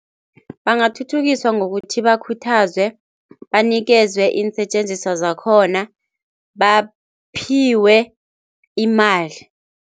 Bangathuthukiswa ngokuthi bakhuthazwe, banikelwe iinsetjenziswa zakhona, baphiwe imali.